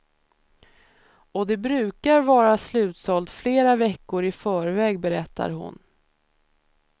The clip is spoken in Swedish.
Och det brukar vara slutsålt flera veckor i förväg, berättar hon.